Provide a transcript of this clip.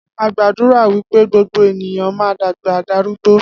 Agbàdúrà wípé gbogbo ènìyàn ma dàgbà darúgbó